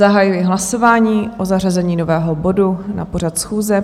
Zahajuji hlasování o zařazení nového bodu na pořad schůze.